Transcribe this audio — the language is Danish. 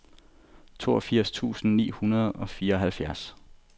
toogfirs tusind ni hundrede og fireoghalvfjerds